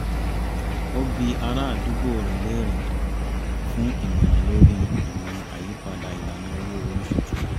ó bi arádùúgbò rẹ̀ léèrè fún ìmọ̀ràn lórí ìmọ̀ àyípadà ìlànà owó orí tuntun